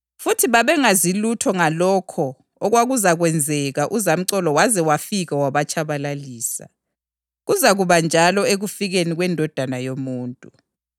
futhi babengazi lutho ngalokho okwakuzakwenzeka uzamcolo waze wafika wabatshabalalisa. Kuzakuba njalo ekufikeni kweNdodana yoMuntu.